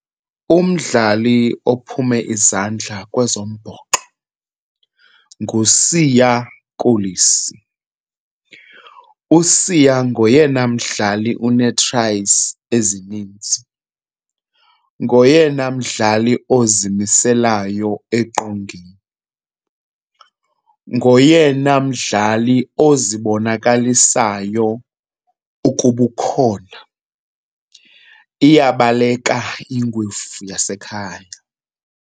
Umdlali ophume izandla kwezombhoxo nguSiya Kolisi. USiya ngoyena mdlali une-tries ezininzi, ngoyena mdlali ozimiselayo eqongeni, ngoyena mdlali ozibonakalisayo ukuba ukhona. Iyabaleka ingwevu yasekhaya.